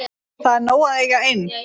Það er nóg að eiga ein.